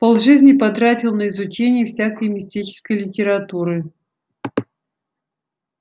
полжизни потратил на изучение всякой мистической литературы